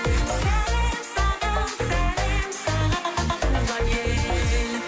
сәлем саған сәлем саған туған ел